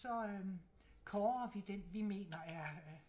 Så øh kårer vi den vi mener er